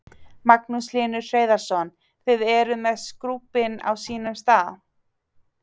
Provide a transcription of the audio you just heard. Magnús Hlynur Hreiðarsson: Þið eruð með skúbbin á sínum stað?